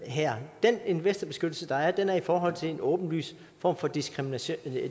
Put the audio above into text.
her den investorbeskyttelse der er gælder i forhold til en åbenlys form for diskrimination